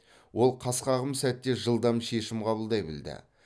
ол қас қағым сәтте жылдам шешім қабылдай білді